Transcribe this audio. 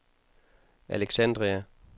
Alexandria